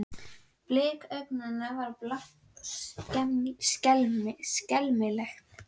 Blik augnanna var blátt og skelmislegt.